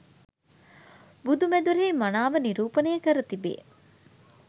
බුදු මැදුරෙහි මනාව නිරූපනය කර තිබේ